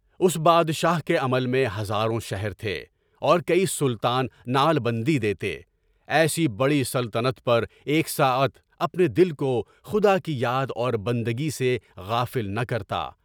اس بادشاہ کے عمل میں ہزاروں کے شہر تھے، اور کئی سلطان نعل بندی دیتے، ایسی بڑی سلطنت پر ایک ساعت اپنے دل کو خدا کی یاد اور بندگی سے غافل نہ کرتا۔